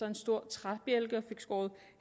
en stor træbjælke og den skåret